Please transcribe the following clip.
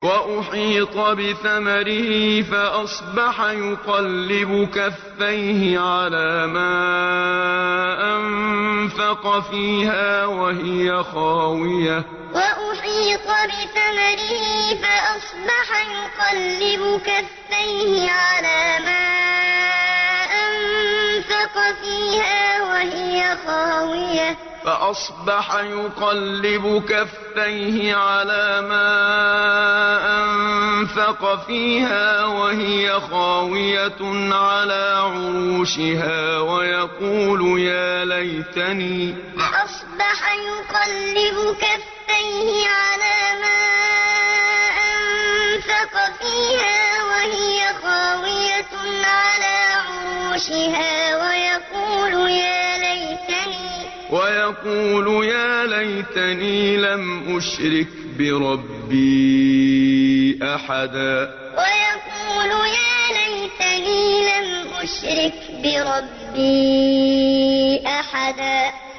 وَأُحِيطَ بِثَمَرِهِ فَأَصْبَحَ يُقَلِّبُ كَفَّيْهِ عَلَىٰ مَا أَنفَقَ فِيهَا وَهِيَ خَاوِيَةٌ عَلَىٰ عُرُوشِهَا وَيَقُولُ يَا لَيْتَنِي لَمْ أُشْرِكْ بِرَبِّي أَحَدًا وَأُحِيطَ بِثَمَرِهِ فَأَصْبَحَ يُقَلِّبُ كَفَّيْهِ عَلَىٰ مَا أَنفَقَ فِيهَا وَهِيَ خَاوِيَةٌ عَلَىٰ عُرُوشِهَا وَيَقُولُ يَا لَيْتَنِي لَمْ أُشْرِكْ بِرَبِّي أَحَدًا